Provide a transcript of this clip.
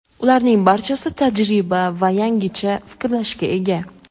Ularning barchasi tajriba va yangicha fikrlashga ega.